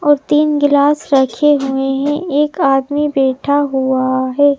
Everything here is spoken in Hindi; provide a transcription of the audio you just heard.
और तीन गिलास रखे हुए हैं एक आदमी बैठा हुआ है।